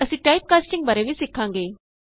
ਅਸੀਂ type casting ਬਾਰੇ ਵੀ ਸਿੱਖਾਂਗੇ